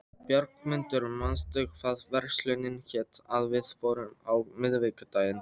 Björgmundur, manstu hvað verslunin hét sem við fórum í á miðvikudaginn?